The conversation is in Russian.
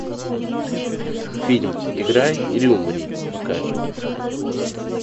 фильм играй или умри покажи